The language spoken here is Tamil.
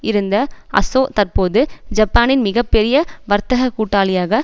இருந்த அசொ தற்போது ஜப்பானின் மிக பெரிய வர்த்தக கூட்டாளியாக